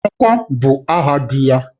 Emeka bụ aha dị ya